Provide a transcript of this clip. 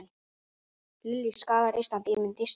Lillý: Skaðað Ísland, ímynd Íslands?